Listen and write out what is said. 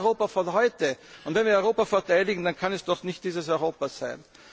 einen sozialen Abstieg. Das ist das Europa von heute! Wenn wir Europa verteidigen, dann kann es doch